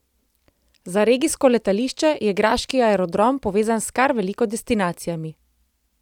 Za regijsko letališče je graški aerodrom povezan s kar veliko destinacijami.